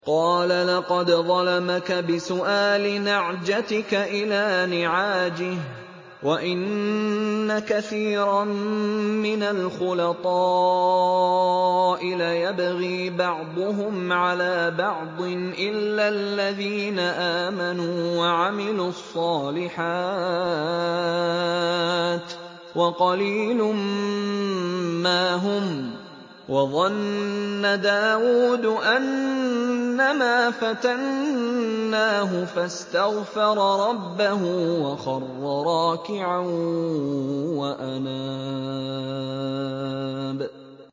قَالَ لَقَدْ ظَلَمَكَ بِسُؤَالِ نَعْجَتِكَ إِلَىٰ نِعَاجِهِ ۖ وَإِنَّ كَثِيرًا مِّنَ الْخُلَطَاءِ لَيَبْغِي بَعْضُهُمْ عَلَىٰ بَعْضٍ إِلَّا الَّذِينَ آمَنُوا وَعَمِلُوا الصَّالِحَاتِ وَقَلِيلٌ مَّا هُمْ ۗ وَظَنَّ دَاوُودُ أَنَّمَا فَتَنَّاهُ فَاسْتَغْفَرَ رَبَّهُ وَخَرَّ رَاكِعًا وَأَنَابَ ۩